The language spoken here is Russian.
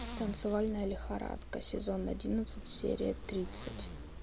танцевальная лихорадка сезон одиннадцать серия тридцать